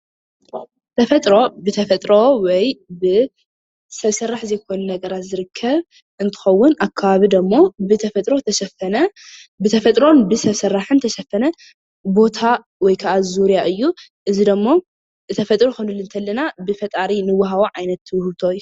ተፈጥሮ ብተፈጥሮ ወይ ብሰብ ሰራሕ ዘይኮኑ ነገራት ዝርከብ እንትኸውን ኣብ ከባቢ ደሞ ብተፈጥሮ ዝተሸፈነ ብተፈጥሮን ብሰብ ስራሕን ዝተሸፈነ ቦታ ወይከዓ ዙርያ እዩ። እዚ ደሞ ብተፈጥሮ ክንብል ከለና ብፈጣሪ እንወሃቦ ዓይነት ውህብቶ እዩ።